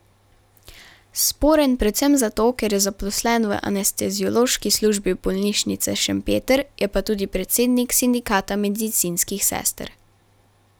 Sporen predvsem zato, ker je zaposlen v anesteziološki službi bolnišnice Šempeter, je pa tudi predsednik sindikata medicinskih sester.